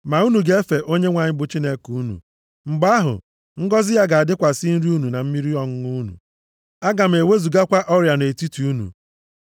Ma unu ga-efe Onyenwe anyị bụ Chineke unu. Mgbe ahụ, ngọzị ya ga-adịkwasị nri unu na mmiri ọṅụṅụ unu. Aga m ewezugakwa ọrịa nʼetiti unu.